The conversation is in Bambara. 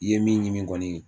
I ye min ɲimi kɔni